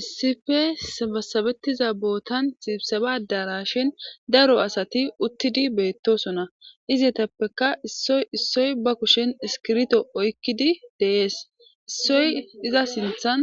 Issippe sabasabetiza botan sibseba adarashen daro asati utidi betosona izatappeka issoy issoy isoy ba kushen iskibirto oyikidi des isoy iza sintan